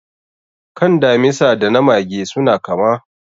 Kan damisa da na mage suna kama.